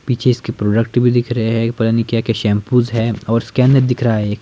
पीछे इसके प्रोडक्ट भी दिख रहे हैं पता नहीं क्या-क्या शैंपूज है और स्कैनर दिख रहा है एक--